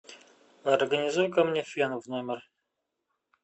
организуй ка мне фен в номер